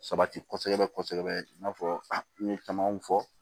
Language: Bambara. Sabati kɔsɔbɛ kɔsɔbɛ i n'a fɔ n ye camanw fɔ